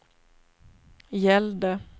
gällde